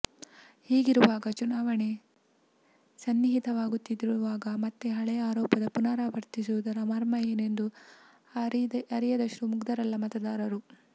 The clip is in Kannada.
ಹೀಗಿರುವಾಗ ಚುನಾವಣೆ ಸನ್ನಿಹಿತವಾಗುತ್ತಿರುವಾಗ ಮತ್ತೆ ಹಳೇ ಆರೋಪವನ್ನು ಪುನರಾವರ್ತಿಸುವುದರ ಮರ್ಮ ಏನೆಂದು ಅರಿಯದಷ್ಟು ಮುಗ್ಧರಲ್ಲ ಮತದಾರರು